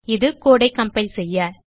இது கோடு ஐ கம்பைல் செய்ய